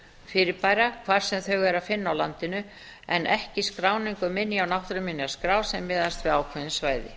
hvar sem þau er að finna á landinu en ekki skráningu minja á náttúruminjaskrá sem miðast við ákveðin svæði